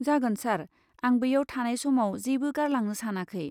जागोन सार, आं बैयाव थानाय समाव जेबो गारलांनो सानाखै।